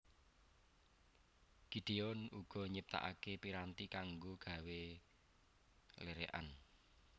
Gideon uga nyiptakake piranti kanggo gawé lerekan